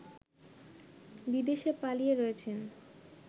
বিদেশে পালিয়ে রয়েছেন